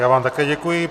Já vám také děkuji.